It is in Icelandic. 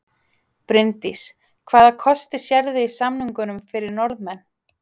Bryndís: Hvaða kosti sérðu í samningunum fyrir Norðmenn?